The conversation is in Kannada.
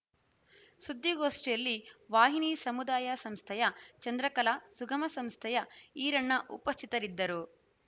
ಸುದ್ದಿಗೋಷ್ಠಿಯಲ್ಲಿ ವಾಹಿನಿ ಸಮುದಾಯ ಸಂಸ್ಥೆಯ ಚಂದ್ರಕಲಾ ಸಂಗಮ ಸಂಸ್ಥೆಯ ಈರಣ್ಣ ಉಪಸ್ಥಿತರಿದ್ದರು